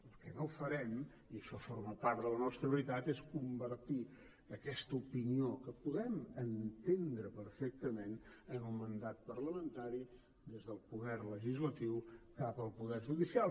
el que no farem i això forma part de la nostra veritat és convertir aquesta opinió que podem entendre perfectament en un mandat parlamentari des del poder legislatiu cap al poder judicial